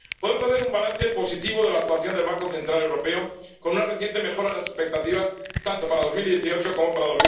Podemos hacer un balance positivo de la actuación del Banco Central Europeo, con una reciente mejora de las expectativas tanto para 2018 como para